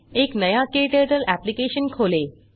एक नया क्टर्टल एप्लिकेशन खोलें